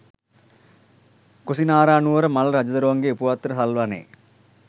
කුසිනාරානුවර මල්ල රජදරුවන්ගේ උපවත්තන සල්වනයේ